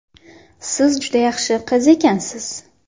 Siz juda yaxshi qiz ekansiz.